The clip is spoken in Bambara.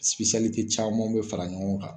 camanw be fara ɲɔgɔn kan.